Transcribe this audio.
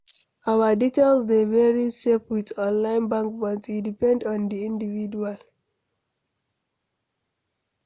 Our details dey very safe with online bank but e depend on di individual